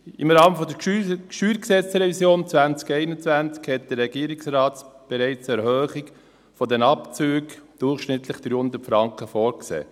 Im Rahmen der StG-Revision 2021 hat der Regierungsrat bereits eine Erhöhung der Abzüge um durchschnittlich 300 Franken vorgesehen.